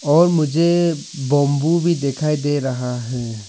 और मुझे बंबू भी दिखाई दे रहा है।